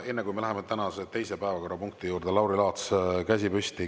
Enne kui me läheme tänase teise päevakorrapunkti juurde, on Lauri Laatsil käsi püsti.